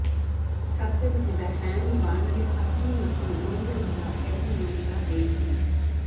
ಕತ್ತರಿಸಿದ ಹ್ಯಾಮ್ ಬಾಣಲೆ ಹಾಕಿ ಮತ್ತು ಒಂದರಿಂದ ಎರಡು ನಿಮಿಷ ಬೇಯಿಸಿ